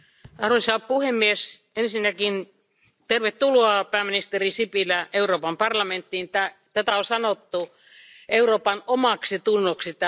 Arvoisa puhemies, ensinnäkin tervetuloa pääministeri Sipilä Euroopan parlamenttiin, tätä on sanottu Euroopan omaksitunnoksi.